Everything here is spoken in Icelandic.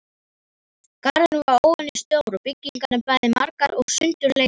Garðurinn var óvenjustór og byggingar bæði margar og sundurleitar.